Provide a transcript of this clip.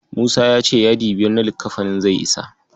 Musa ya ce hadi biyar na lakkafani zai isa.